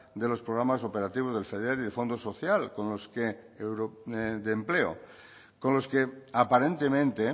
de los programas operativos del feder y del fondo social de empleo con los aparentemente